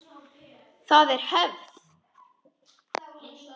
Það er hefð!